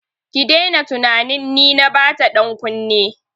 Ki daina tunanin ni na bata dankunne!